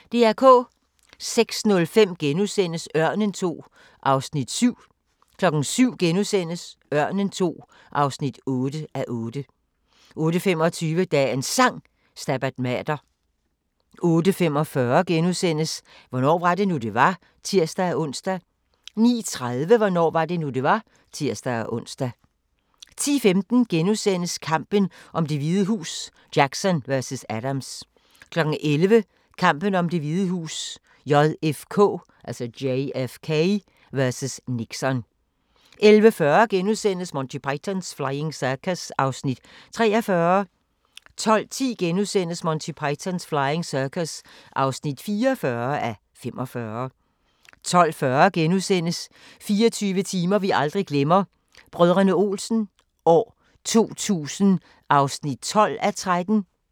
06:05: Ørnen II (7:8)* 07:00: Ørnen II (8:8)* 08:25: Dagens Sang: Stabat Mater 08:45: Hvornår var det nu, det var? *(tir-ons) 09:30: Hvornår var det nu, det var? (tir-ons) 10:15: Kampen om Det Hvide Hus: Jackson vs. Adams * 11:00: Kampen om Det Hvide Hus: JFK vs. Nixon 11:40: Monty Python's Flying Circus (43:45)* 12:10: Monty Python's Flying Circus (44:45)* 12:40: 24 timer vi aldrig glemmer – Brdr. Olsen 2000 (12:13)*